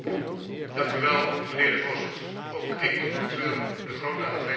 Voorzitter, ook ik betreur de grote afwezigheid van de Raad vanavond.